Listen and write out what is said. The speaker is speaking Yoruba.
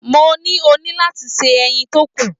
Mo ní, o ní láti se ẹyin tó kù.